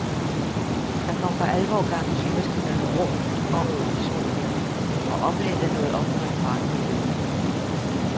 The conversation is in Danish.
Der kom for alvor gang i symaskinerne rundt om i de små hjem, og oplaget nåede op på en kvart million.